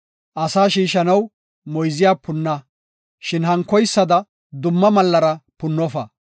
Asa shiishanaw moyze punna, shin hankoysada dumma mallara punnofa.